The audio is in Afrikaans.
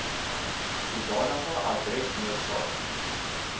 sodanige adres noodsaak